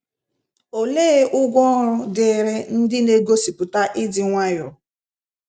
Olee ụgwọ ọrụ dịrị ndị n'egosipụta ịdị nwayọọ?